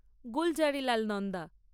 Gulzarilal Nanda